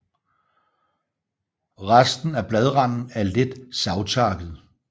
Resten af bladranden er let savtakket